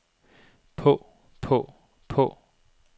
på på på